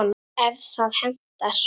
ef það hentar!